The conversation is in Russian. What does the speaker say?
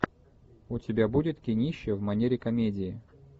у тебя будет кинище в манере комедии